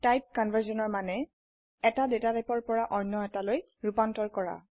type কনভাৰ্সনৰ মানে এটা ডেটা টাইপৰ পৰা অন্য এটাৰলৈ ৰুপান্তৰ কৰা